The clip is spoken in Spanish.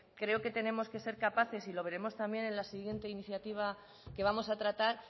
creo que tenemos que ser capaces y lo veremos también en la siguiente iniciativa que vamos a tratar